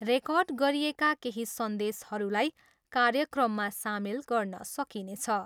Record गरिएका केही सन्देशहरूलाई कार्यक्रममा सामेल गर्न सकिनेछ।